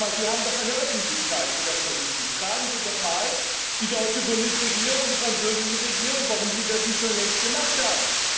Fragen Sie doch einmal Sie haben doch eine Öffentlichkeit für das, was Sie tun fragen Sie doch mal die deutsche Bundesregierung und die französische Regierung, warum sie das nicht schon längst gemacht haben.